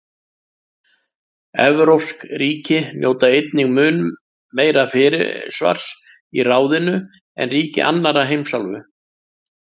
Evrópsk ríki njóta einnig mun meira fyrirsvars í ráðinu en ríki annarra heimsálfa.